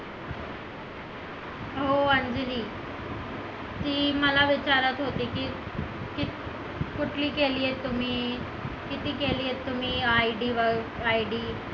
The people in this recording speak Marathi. हो अंजली ती मला विचारत होती कुठली केलीये केली आहे तुम्ही किती केली आहे तुम्ही ID